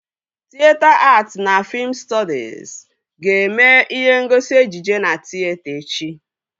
Tịyeta att na fiim stọdis ga-eme ihe ngosi ejije na tịyeta echi